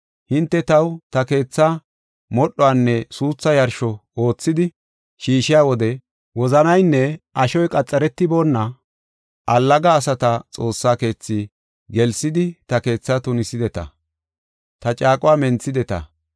Hinte taw ta kathaa, modhuwanne suuthu yarsho oothidi shiishiya wode wozanaynne ashoy qaxaretiboona allaga asata Xoossa keethi gelsidi ta keethaa tunisideta; ta caaquwa menthideta.